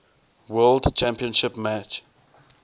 world championship match